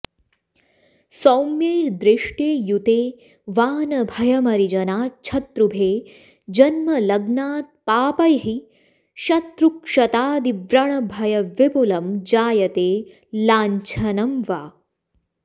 सौम्यैर्दृष्टे युते वा न भयमरिजनाच्छत्रुभे जन्मलग्नात् पापैः शत्रुक्षतादिव्रणभयविपुलं जायते लाङ्छनं वा